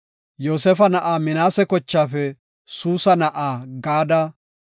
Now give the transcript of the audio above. Yoosefa na7aa Minaase kochaafe Suusa na7aa Gaade;